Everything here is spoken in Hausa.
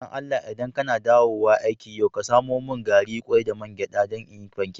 Dan Allah, idan ka na dawowa aiki yau ka samo mun gari, kwai, da man gyada dan n'yi pancak.